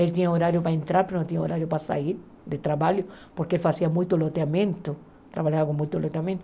Ele tinha horário para entrar, mas não tinha horário para sair de trabalho, porque ele fazia muito loteamento, trabalhava com muito loteamento.